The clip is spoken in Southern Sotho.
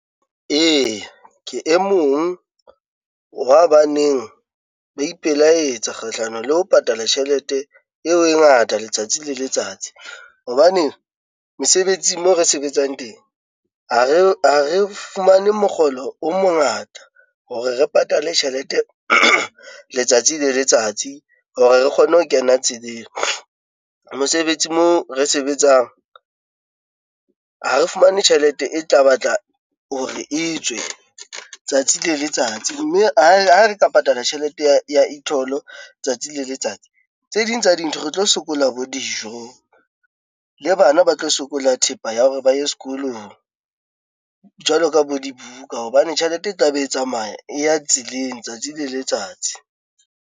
Eya, ke e mong wa ba neng ba ipelaetsa kgahlano le ho patala tjhelete eo e ngata letsatsi le letsatsi, hobane mesebetsing mo re sebetsang teng ha re fumane mokgolo o mongata hore re patale tjhelete letsatsi le letsatsi hore re kgone ho kena tseleng. Mosebetsi mo re sebetsang, ha re fumane tjhelete e tla batla hore e tswe tsatsi le letsatsi, mme ha re ka patala tjhelete ya e-toll tsatsi le letsatsi tse ding tsa dintho re tlo sokola bo dijo, le bana ba tlo sokola thepa ya hore ba ye sekolong jwalo ka bo dibuka, hobane tjhelete e tla be e tsamaya e ya tseleng tsatsi le letsatsi.